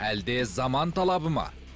әлде заман талабы ма